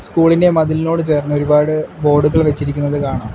School ഇന്റെ മതിലിനോട് ചേർന്ന് ഒരുപാട് ബോർഡുകൾ വെച്ചിരിക്കുന്നത് കാണാം.